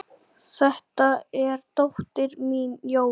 Þetta er dóttir mín, Jóra